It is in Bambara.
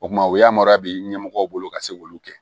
O kuma o yamaruya bɛ ɲɛmɔgɔw bolo ka se k'olu kɛ